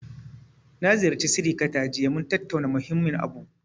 Na ziyarci sirikata jiya, mun tattauna muhimmin abu.